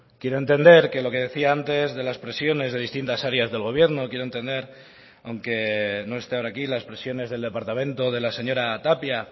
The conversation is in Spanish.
quiero entender que lo que decía antes de las presiones de distintas áreas del gobierno quiero entender aunque no esté ahora aquí las presiones del departamento de la señora tapia